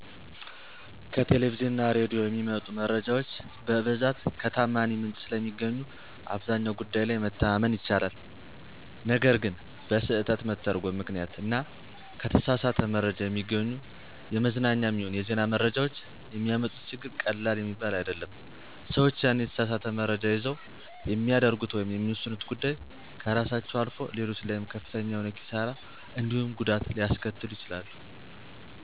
ከቴሌቪዥን እና ሬዲዮ የሚመጡ መረጃዎች በብዛት ከተዓማኒ ምንጭ ስለሚገኙ አብዛኛው ጉዳይ ላይ መተማመን ይቻላል። ነገር ግን በስህተት መተርጐም ምክንያት እና ከተሳሳት መረጃ የሚገኙ የመዝናኛም ይሁን የዜና መረጃዎች የሚያመጡት ችግር ቀላል የሚባል አይደለም። ሰዎች ያንን የተሳሳት መረጃ ይዘው የሚያደርጉት ወይም የሚወስኑት ጉዳይ ከራሳቸው አልፎ ሌሎች ላይም ከፍተኛ የሆነ ኪሣራ እንዲሁም ጉዳት ሊያስከትሉ ይችላሉ።